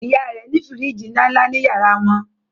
ìyá rẹ ní firiji nlánlá ní yàrá wọn